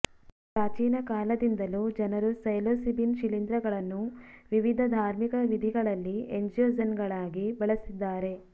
ಪ್ರಾಚೀನ ಕಾಲದಿಂದಲೂ ಜನರು ಸೈಲೋಸಿಬಿನ್ ಶಿಲೀಂಧ್ರಗಳನ್ನು ವಿವಿಧ ಧಾರ್ಮಿಕ ವಿಧಿಗಳಲ್ಲಿ ಎಂಜಿಯೋಜೆನ್ಗಳಾಗಿ ಬಳಸಿದ್ದಾರೆ